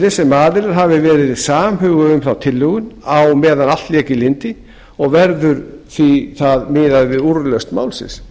virðist sem aðilar hafi verið samhuga um þá tilhögun á meðan allt lék í lyndi og verður við það miðað við úrlausn málsins